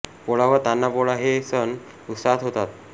पोळा व तान्हा पोळा हे सण उत्साहात होतात